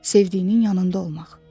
Sevdiyinin yanında olmaq.